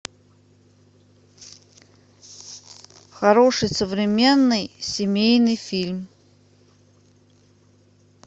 хороший современный семейный фильм